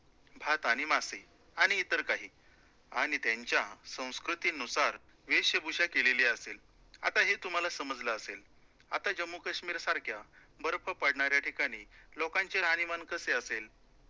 भात आणि मासे आणि इतर काही आणि त्यांच्या संस्कृतीनुसार वेशभूषा केलेली असेल, आता हे तुम्हाला समजलं असेल, आता जम्मू काश्मीरसारख्या बर्फ पडणाऱ्या ठिकाणी लोकांचे राहणीमान कसे असेल,